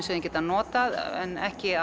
sem þau geta notað en ekki